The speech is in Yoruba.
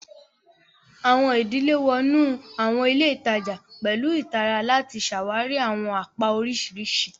Awọn idile wọ inu awọn ile itaja pẹlu ìtara lati ṣawari awọn apá oriṣiriṣi.